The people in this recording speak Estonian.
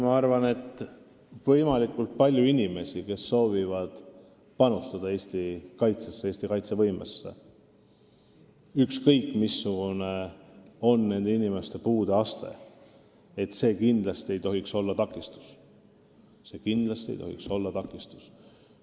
Ma arvan, et kui on võimalikult palju inimesi, kes soovivad panustada Eesti riigi kaitsevõimesse, siis ükskõik missugune on nende puudeaste, ei tohiks see kindlasti olla takistus.